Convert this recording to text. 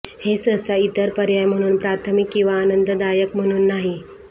हे सहसा इतर पर्याय म्हणून प्राथमिक किंवा आनंददायक म्हणून नाही